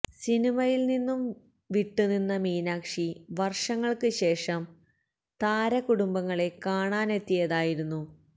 സിനിമയില് നിന്നും വിട്ട് നിന്ന മീനാക്ഷി വര്ഷങ്ങള്ക്ക് ശേഷം താര കുടുംബങ്ങളെ കാണാനെത്തിയതായിരുന്നു